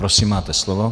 Prosím, máte slovo.